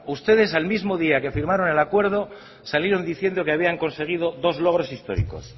ustedes el mismo día que firmaron el acuerdo salieron diciendo que habían conseguido dos logros históricos